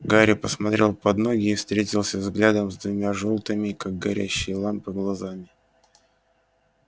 гарри посмотрел под ноги и встретился взглядом с двумя жёлтыми как горящие лампы глазами